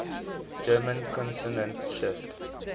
german consonant shift